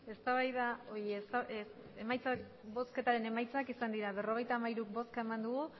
emandako botoak berrogeita hamairu bai